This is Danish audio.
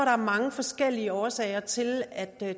er mange forskellige årsager til at